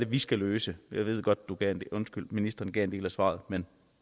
vi skal løse jeg ved godt at ministeren gav en del af svaret men